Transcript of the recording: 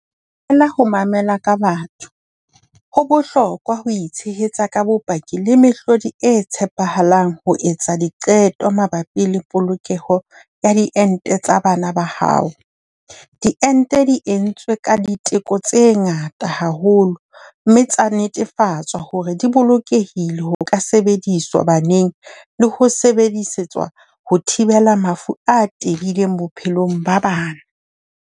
Ho mamela ka batho. Ho bohlokwa ho itshehetsa ka bopaki le mehlodi e tshepahalang ho etsa diqeto mabapi le polokeho ya diente tsa bana ba hao. Diente di entswe ka diteko tse ngata haholo, mme tsa netefatswa hore di bolokehile ho ka sebediswa baneng le ho sebedisetswa ho thibela mafu a tebileng bophelong ba bana.